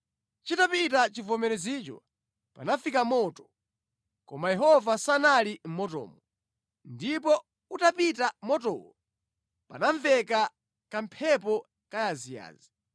Chitapita chivomerezicho, panafika moto, koma Yehova sanali mʼmotomo. Ndipo utapita motowo, panamveka kamphepo kayaziyazi.